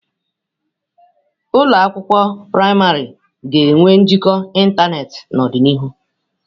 Ụlọ akwụkwọ praịmarị ga-enwe njikọ ịntanetị n'ọdịnihu.